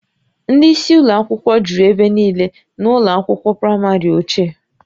Ndị isi ụlọ akwụkwọ juru ebe niile na ụlọ akwụkwọ praịmarị ochie